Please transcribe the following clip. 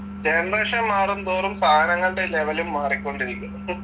generation മാറും തോറും സാധനങ്ങളുടെ level ഉം മാറിക്കൊണ്ടിരിക്കുന്നു ഹും